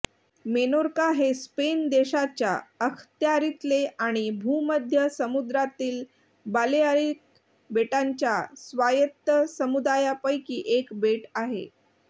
Menorca हे Spain देशाच्या अखत्यारीतले आणि भूमध्य समुद्रातील बालेआरिक बेटांच्या स्वायत्त समुदायापैकी एक बेट आहे